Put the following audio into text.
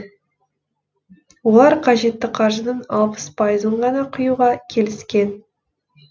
олар қажетті қаржының алпыс пайызын ғана құюға келіскен